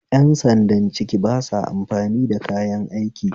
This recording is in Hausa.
Yan sandan ciki basa amfani da kayan aiki